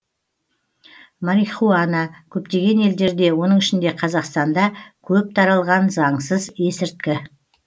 марихуана көптеген елдерде оның ішінде қазақстанда көп таралған заңсыз есірткі